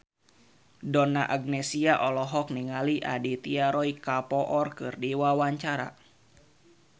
Donna Agnesia olohok ningali Aditya Roy Kapoor keur diwawancara